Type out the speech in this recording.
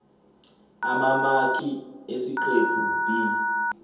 amamaki esiqephu b